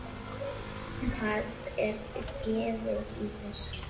Hvað er gefið í þessu?